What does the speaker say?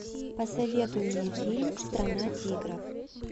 посоветуй мне фильм страна тигров